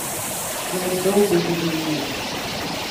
Naj dolgo živi mir.